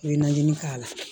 I bɛ najinin k'a la